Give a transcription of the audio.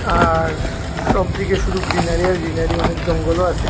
আর সবদিকে শুধু গ্রিনারী আর গ্রিনারী অনেক জঙ্গলও আসে।